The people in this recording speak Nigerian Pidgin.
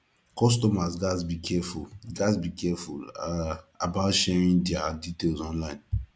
customers gats be careful gats be careful um about sharing diir details online